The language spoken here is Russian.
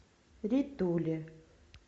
ритуле